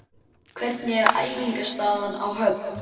Hvernig er æfingaaðstaðan á Höfn?